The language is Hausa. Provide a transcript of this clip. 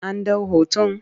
An ɗau hoton?